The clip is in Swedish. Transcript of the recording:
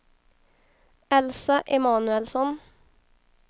Elsa Emanuelsson